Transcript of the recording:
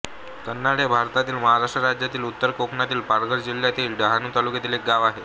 कैनाड हे भारतातील महाराष्ट्र राज्यातील उत्तर कोकणातील पालघर जिल्ह्यातील डहाणू तालुक्यातील एक गाव आहे